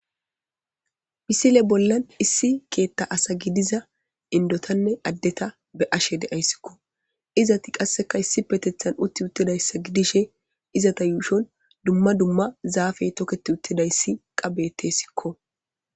Misile bolla issi keetha asay issi bolla dizaysa be'ashe de'ays. Izetika issi bolla shiqidi uttidaysa gidishin,izeta yuushon dumma dumma zaafey toketi uttidaysa qasse beetesiko.